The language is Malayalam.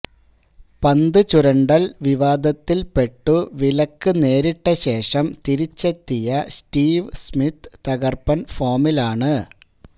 പന്തു ചുരണ്ടൽ വിവാദത്തിൽപെട്ടു വിലക്കു നേരിട്ടശേഷം തിരിച്ചെത്തിയ സ്റ്റീവ് സ്മിത്ത് തകർപ്പൻ ഫോമിലാണ്